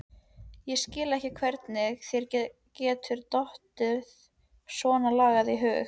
Ég skil ekki hvernig þér getur dottið svonalagað í hug!